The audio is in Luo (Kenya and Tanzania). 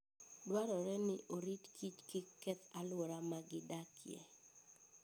Dwarore ni orit kich kik keth alwora ma gidakie.